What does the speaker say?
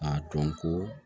A dɔn ko